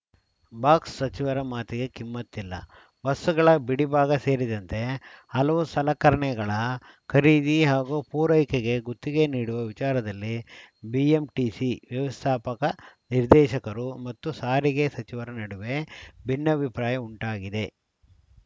ಬಾಕ್ಸ್‌ಸಚಿವರ ಮಾತಿಗೆ ಕಿಮ್ಮತ್ತಿಲ್ಲ ಬಸ್‌ಗಳ ಬಿಡಿಭಾಗ ಸೇರಿದಂತೆ ಹಲವು ಸಲಕರಣೆಗಳ ಖರೀದಿ ಹಾಗೂ ಪೂರೈಕೆಗೆ ಗುತ್ತಿಗೆ ನೀಡುವ ವಿಚಾರದಲ್ಲಿ ಬಿಎಂಟಿಸಿ ವ್ಯವಸ್ಥಾಪಕ ನಿರ್ದೇಶಕರು ಮತ್ತು ಸಾರಿಗೆ ಸಚಿವರ ನಡುವೆ ಭಿನ್ನಾಭಿಪ್ರಾಯ ಉಂಟಾಗಿದೆ